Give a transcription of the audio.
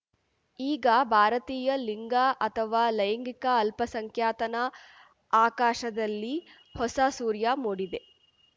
ಈಗ ಭಾರತೀಯ ಲಿಂಗ ಅಥವ ಲೈಂಗಿಕ ಅಲ್ಪಸಂಖ್ಯಾತನ ಆಕಾಶದಲ್ಲಿ ಹೊಸ ಸೂರ್ಯ ಮೂಡಿದೆ